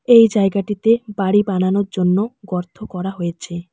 এই জায়গাটিতে বাড়ি বানানোর জন্য গর্থ করা হয়েছে।